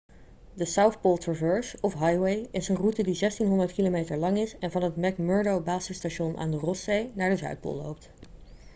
de south pole traverse of highway is een route die 1600 km lang is en van het mcmurdo-basisstation aan de rosszee naar de zuidpool loopt